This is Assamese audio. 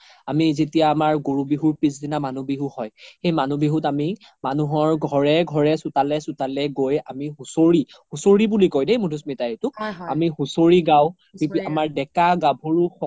আমি যেতিয়া আমাৰ গৰু বিহুৰ পিচ দিনা মানুহ বিহু হয় সেই মানুহ বিহুত আমি মানুহৰ ঘৰে ঘৰে চোতালে চোতালে গৈ আমি হুচৰি, হুচৰি বুলি কই দেই মাধুস্মিতা এইটোক আমি হুচৰি গাও আমাৰ দেকা গাভৰু